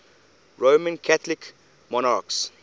roman catholic monarchs